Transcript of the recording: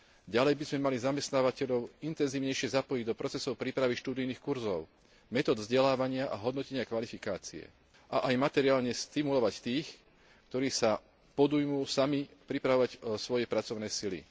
Ďalej by sme mali zamestnávateľov intenzívnejšie zapojiť do procesov prípravy študijných kurzov, metód vzdelávania a hodnotenia kvalifikácie a aj materiálne stimulovať tých, ktorí sa podujmú sami pripravovať svoje pracovné sily.